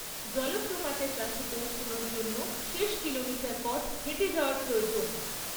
জলপ্রপাতের কাছে পৌঁছনোর জন্য শেষ কিলোমিটার পথ হেঁটে যাওয়া প্রয়োজন।